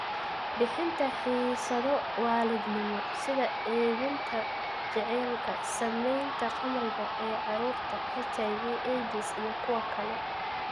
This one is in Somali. Bixinta xiisado waalidnimo sida edbinta jacaylka, saamaynta khamriga ee carruurta, HIV/AIDS iyo kuwa kale.